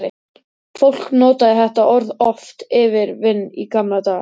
Fólk notaði þetta orð oft yfir vin í gamla daga.